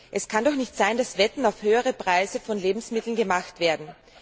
Es kann doch nicht sein, dass Wetten auf höhere Preise von Lebensmitteln gemacht werden.